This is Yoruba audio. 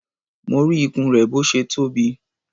Mo rí ikùn rẹ̀ bó ṣe tóbi.